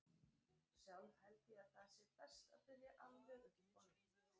Sjálf held ég að það sé best að byrja alveg upp á nýtt.